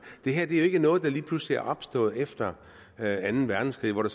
det her er jo ikke noget der lige pludselig er opstået efter anden verdenskrig hvor